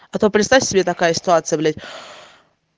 а то представьте себе такая ситуация блять